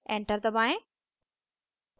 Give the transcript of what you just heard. enter दबाएं